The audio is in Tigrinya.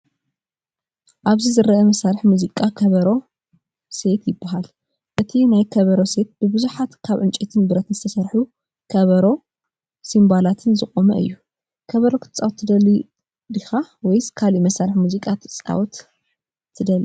ኣብዚ ዝርአ መሳርሒ ሙዚቃ “ከበሮ ሴት” ይበሃል። እቲ ናይ ከበሮ ሴት ብብዙሓት ካብ ዕንጨይትን ብረት ዝተሰርሑ ከበሮን ሲምባላትን ዝቖመ እዩ። ከበሮ ክትጻወት ትደሊ ዲኻ? ወይስ ካልእ መሳርሒ ሙዚቃ ክትጻወት ትደሊ?